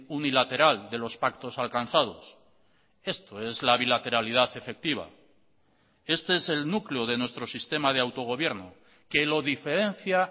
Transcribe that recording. unilateral de los pactos alcanzados esto es la bilateralidad efectiva este es el núcleo de nuestro sistema de autogobierno que lo diferencia